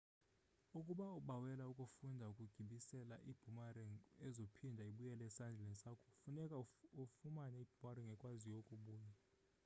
ukuba ubawela ukufunda ukugibisela iboomerang ezophinda ibuyele esandleni sakho funeke ufumane iboomerang ekwaziyo ukubuya